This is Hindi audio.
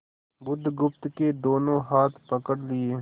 बुधगुप्त के दोनों हाथ पकड़ लिए